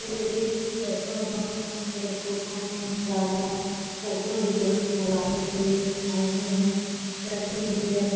ये एक petrol pump है पेट्रोल पम्प मे गाडियाँ है पेट्रोल डीजल डलाने के लिए आइ हुई है पेट्रोल डीजल --